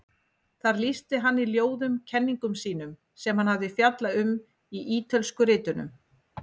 Þar lýsti hann í ljóðum kenningum sínum sem hann hafði fjallað um í Ítölsku ritunum.